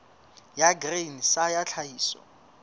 ya grain sa ya tlhahiso